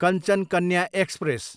Kanchan Kanya express